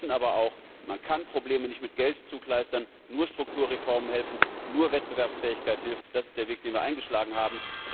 Wir wissen aber auch, man kann Probleme nicht mit Geld zukleistern, nur Strukturreformen helfen, nur Wettbewerbsfähigkeit hilft. Das ist der Weg, den wir eingeschlagen haben.